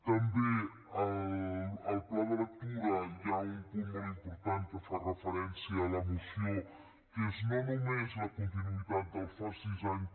també al pla de lectura hi ha un punt molt important que hi fa referència la moció que és no només la continuïtat del fas sis anys